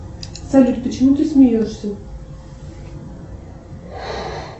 салют почему ты смеешься